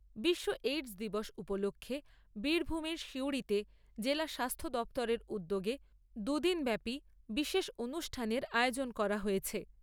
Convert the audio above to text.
বিশ্ব এইডস দিবস উপলক্ষ্যে বীরভূমের সিউড়িতে জেলা স্বাস্থ্য দফতরের উদ্যোগে দু দিনব্যাপী বিশেষ অনুষ্ঠানের আয়োজন করা হয়েছে।